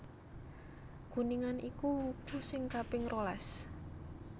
Kuningan iku wuku sing kaping rolas